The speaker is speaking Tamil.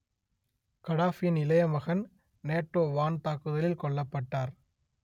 கடாபியின் இளைய மகன் நேட்டோ வான் தாக்குதலில் கொல்லப்பட்டார்